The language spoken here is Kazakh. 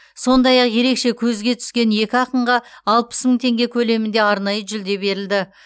сондай ақ ерекше көзге түскен екі ақынға алпыс мың теңге көлемінде арнайы жүлде берілді